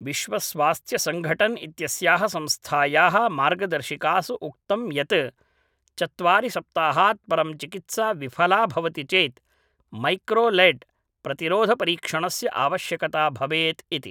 विश्वस्वास्थ्यसङघटन् इत्यस्याः संस्थायाः मार्गदर्शिकासु उक्तं यत् चत्वारि सप्ताहात् परं चिकित्सा विफला भवति चेत् मैक्रोलैड् प्रतिरोधपरीक्षणस्य आवश्यकता भवेत् इति